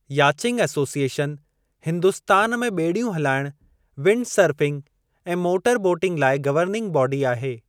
Yachting association Hindustan में ॿेड़ियूं हुलाइणु, विंडसर्फिंग ऐं मोटर बोटिंग लाइ गवर्निंग बाडी आहे।